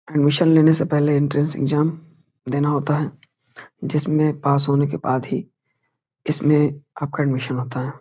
Admission लेने से पहले एंट्रेंस एग्जाम देना होता है जिसमें पास होने के बाद ही इसमें आपका एडमिशन होता है।